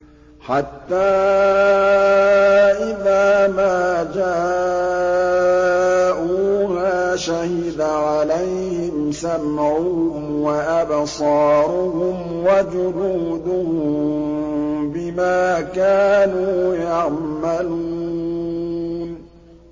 حَتَّىٰ إِذَا مَا جَاءُوهَا شَهِدَ عَلَيْهِمْ سَمْعُهُمْ وَأَبْصَارُهُمْ وَجُلُودُهُم بِمَا كَانُوا يَعْمَلُونَ